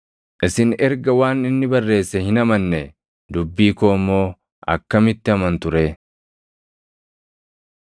Isin erga waan inni barreesse hin amannee, dubbii koo immoo akkamitti amantu ree?”